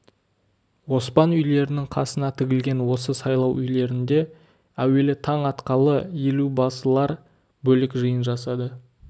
оспан үйлерінің қасына тігілген осы сайлау үйлерінде әүелі таң атқалы елубасылар бөлек жиын жасады